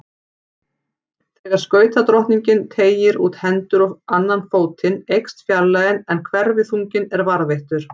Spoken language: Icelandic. Þegar skautadrottningin teygir út hendur og annan fótinn eykst fjarlægðin en hverfiþunginn er varðveittur.